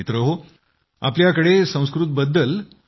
मित्रहो आपल्याकडे संस्कृत बद्दल